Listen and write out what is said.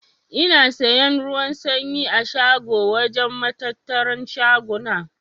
Ina siyan ruwan sanyi a shago wajen matattaran shaguna.